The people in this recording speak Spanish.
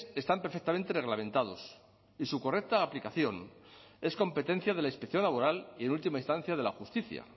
están perfectamente reglamentados y su correcta aplicación es competencia de la inspección laboral y en última instancia de la justicia